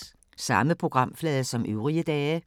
Samme programflade som øvrige dage